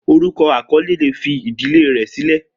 Orukọ akọle le fi idile rẹ silẹ.